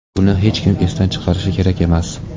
Buni hech kim esdan chiqarishi kerak emas.